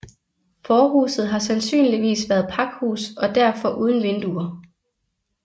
Forhuset har sandsynligvis været pakhus og derfor uden vinduer